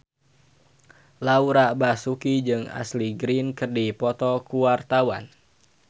Laura Basuki jeung Ashley Greene keur dipoto ku wartawan